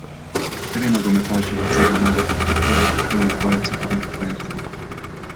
Kateri nogometaš je dosegel največ zadetkov v izločilnih bojih svetovnih prvenstev?